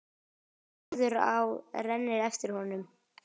Norðurá rennur eftir honum.